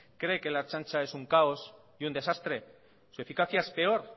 cree que la ertzaintza es un caos y un desastre su eficacia es peor